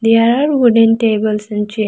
here are wooden tables and chair.